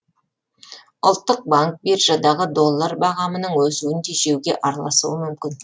ұлттық банк биржадағы доллар бағамының өсуін тежеуге араласуы мүмкін